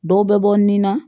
Dɔw bɛ bɔ nin na